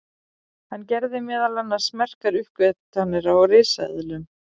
hann gerði meðal annars merkar uppgötvanir á risaeðlum